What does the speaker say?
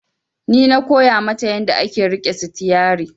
Ni na koya mata yanda ake riƙe sitiyari